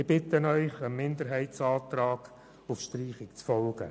Ich bitte Sie, dem Minderheitsantrag auf Streichung zu folgen.